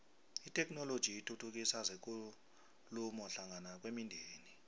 itheknoloji ithuthukisa zekulumo hlangana kwemindeni